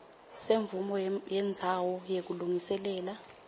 semvumo yendzawo yekulungiselela